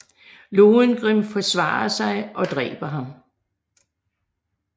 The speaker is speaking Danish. Lohengrin forsvarer sig og dræber ham